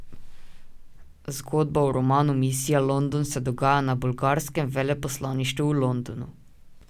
Zgodba v romanu Misija London se dogaja na bolgarskem veleposlaništvu v Londonu.